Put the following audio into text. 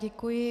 Děkuji.